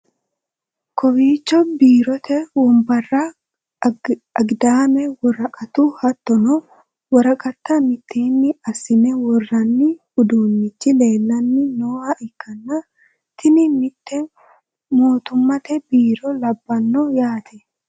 Kowiicho biirote wombare, agidaame ,woraqatu, hattono woraqata mitteenni assine worranni uduunnichi leellanni nooha ikkanna tini mitte mootummate biirro labbanno yaate.